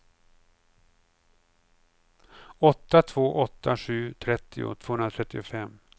åtta två åtta sju trettio tvåhundratrettiofem